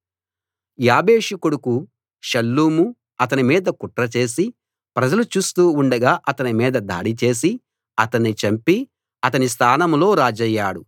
యాబేషు కొడుకు షల్లూము అతని మీద కుట్రచేసి ప్రజలు చూస్తూ ఉండగా అతని మీద దాడి చేసి అతన్ని చంపి అతని స్థానంలో రాజయ్యాడు